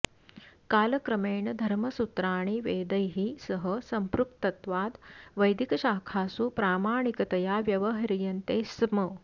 कालक्रमेण धर्मसूत्राणि वेदैः सह संपृक्तत्वाद् वैदिकशाखासु प्रामाणिकतया व्यवह्रियन्ते स्म